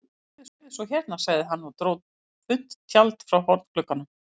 Sérðu svo hérna, sagði hann og dró þunnt tjald frá hornglugganum.